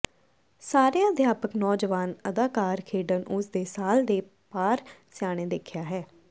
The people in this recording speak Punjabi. ਸਾਰੇ ਅਧਿਆਪਕ ਨੌਜਵਾਨ ਅਦਾਕਾਰ ਖੇਡਣ ਉਸ ਦੇ ਸਾਲ ਦੇ ਪਾਰ ਸਿਆਣੇ ਦੇਖਿਆ ਹੈ